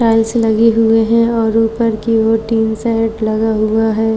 Tiles लगे हुए हैं और ऊपर की और टिन शेड लगा हुआ है।